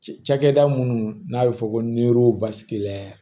Cɛkɛda minnu n'a bɛ fɔ ko